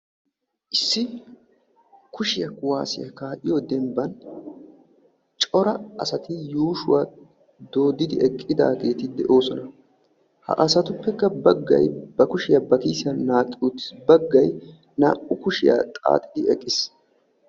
Issi kushiyaa kuwaassiya kaa"iyoo dembban cora asati yuushuwa dooddidi eqqidaageeti de'oosona. Ha asatuppekka baggay ba kushiyaa ba kiisiyan naaqqi uttis. Baggay naa"u kushiyaa xaaxidi eqqis.